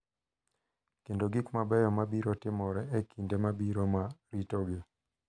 kendo gik mabeyo ma biro timore e kinde mabiro ma ritogi.